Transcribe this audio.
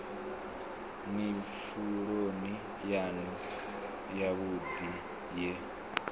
ni pfuloni yanu yavhudi ye